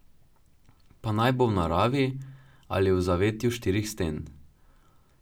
Pa naj bo v naravi ali v zavetju štirih sten.